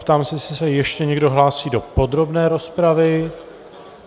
Ptám se, jestli se ještě někdo hlásí do podrobné rozpravy.